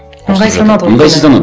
ыңғайсызданады ғой ыңғайсызданады